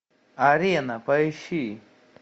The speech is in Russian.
арена поищи